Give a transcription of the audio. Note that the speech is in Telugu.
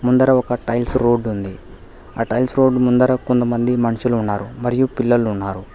ముందర ఒక టైల్స్ రోడ్ ఉంది ఆ టైల్స్ రోడ్ ముందర కొంతమంది మనుషులు ఉన్నారు మరియు పిల్లలు ఉన్నారు.